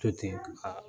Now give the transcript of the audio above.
To ten a